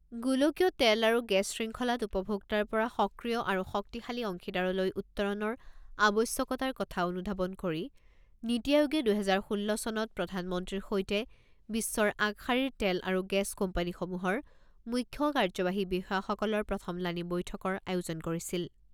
গোলকীয় তেল আৰু গেছ শৃংখলাত উপভোক্তাৰ পৰা সক্ৰিয় আৰু শক্তিশালী অংশীদাৰলৈ উত্তৰণৰ আৱশ্যকতাৰ কথা অনুধাৱন কৰি নীতি আয়োগে দুহেজাৰ ষোল্ল চনত প্ৰধানমন্ত্ৰীৰ সৈতে বিশ্বৰ আগশাৰীৰ তেল আৰু গেছ কোম্পানীসমূহৰ মুখ্য কাৰ্যবাহী বিষয়াসকলৰ প্ৰথমলানি বৈঠকৰ আয়োজন কৰিছিল।